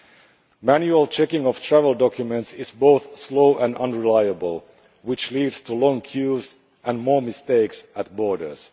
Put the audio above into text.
The manual checking of travel documents is both slow and unreliable, which leads to long queues and more mistakes at the borders.